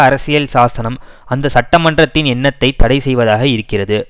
அரசியல் சாசனம் அந்த சட்டமன்றத்தின் எண்ணத்தைத் தடை செய்வதாக இருக்கிறது